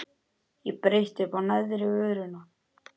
Ég bretti uppá neðri vörina.